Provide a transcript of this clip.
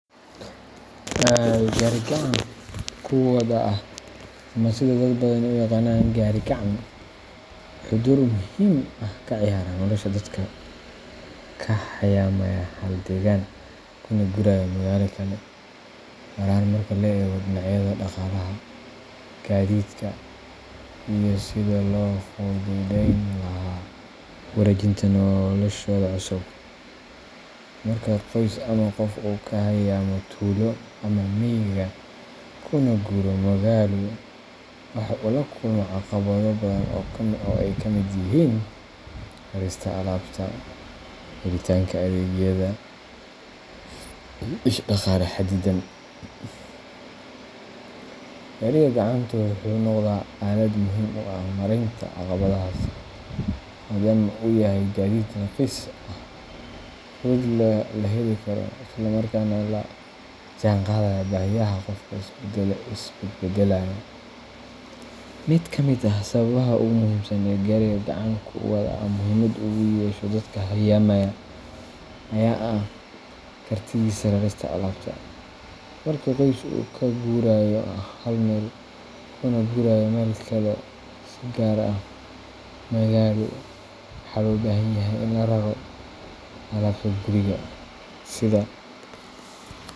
Gaariga gacan-ku-wada ah — ama sida dad badani u yaqaan “gaari-gacan” — wuxuu door muhiim ah ka ciyaaraa nolosha dadka ka hayaamaya hal deegaan kuna guuraya magaalo kale, gaar ahaan marka laga eego dhinacyada dhaqaalaha, gaadiidka, iyo sidii loo fududeyn lahaa wareejinta noloshooda cusub. Marka qoys ama qof uu ka hayaamo tuulo ama miyiga kuna guuro magaalo, waxa uu la kulmaa caqabado badan oo ay ka mid yihiin rarista alaabta, helitaanka adeegyada, iyo dhaqaale xaddidan. Gaariga gacantu wuxuu noqdaa aalad muhiim u ah maaraynta caqabadahaas, maadaama uu yahay gaadiid raqiis ah, fudud, la heli karo, isla markaana la jaanqaadaya baahiyaha qofka isbedbedelaya. Mid ka mid ah sababaha ugu muhiimsan ee gaariga gacan-ku-wada ah muhiimad ugu yeesho dadka hayaamaya ayaa ah kartidiisa rarista alaabta. Marka qoys uu ka guurayo hal meel kuna guurayo meel kale, si gaar ah magaalo, waxaa loo baahan yahay in la raro alaabta guriga sida.